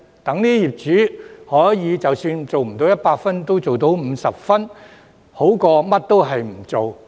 這樣，業主即使做不到100分，也做到50分，總比甚麼也不做好。